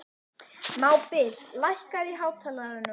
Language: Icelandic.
Mábil, lækkaðu í hátalaranum.